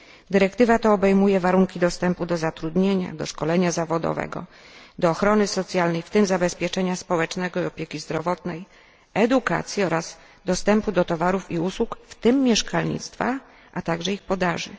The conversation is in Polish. Dyrektywa ta obejmuje warunki dostępu do zatrudnienia, do szkolenia zawodowego, do ochrony socjalnej, w tym zabezpieczenia społecznego i opieki zdrowotnej, edukacji oraz dostępu do towarów i usług, w tym mieszkalnictwa, a także ich podaży.